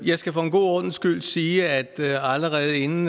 skal for en god ordens skyld sige at allerede inden